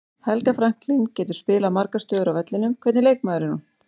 Helga Franklín getur spilað margar stöður á vellinum, hvernig leikmaður er hún?